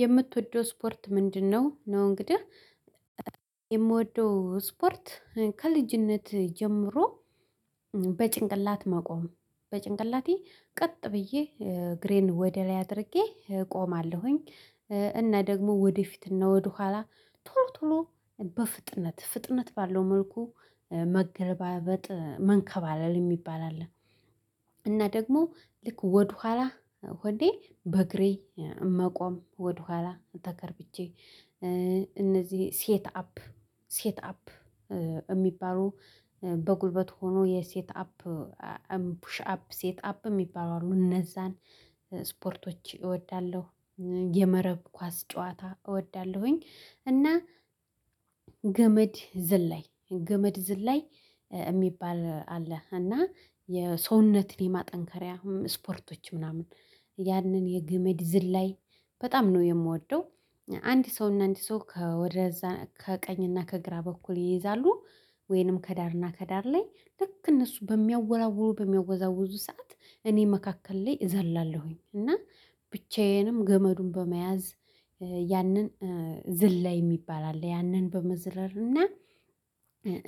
የምትወደው ስፖርት ምንድነው? ነው እንግዲህ የምወደው ስፖርት ከልጅነት ጀምሮ በጭንቅላት መቆም በጭንቅላቴ ቀጥ ብዬ እግሬን ወደ ላይ አድርጌ እቆማለሁኝ እና ደግሞ ወደፊትና ወደኋላ ቶሎ ቶሎ በፍጥነት ፍጥነት ባለው መልኩ መገለባበጥ መንከባለል እሚባል አለ እና ደግሞ ልክ ወደኋላ ሆኜ በእግሬ መቆም ወደኋላ ተከርብቼ እነዚህ ሴት አፕ ሴት አፕ እሚባሉ በጉልበት ሆኖ የሴት አፕ ፑሽ አፕ ሴት አፕ የሚባሉ አሉ እነዛን ስፖርቶች እወዳለሁ የመረብ ኳስ ጨዋታ እወዳለሁኝ እና ገመድ ዝላይ ገመድ ዝላይ የሚባል አለ እና የሰውነትን የማጠንከሪያ ስፖርቶች ምናምን ያንን የግመድ ዝላይ በጣም ነው የምወደው አንድ ሰው እና አንድ ሰው ከወደዛ ከቀኝ እና ከግራ በኩል ይይዛሉ ወይንም ከዳርና ከዳር ላይ ልክ እነሱ በሚያወራውሩ በሚያወዛውዙ ሰዓት እኔ መካከል ላይ እዘላለሁኝ እና ብቻዬንም ገመዱን በመያዝ ያንን ዝላይ የሚባል አለ ያንን በመዝለል እና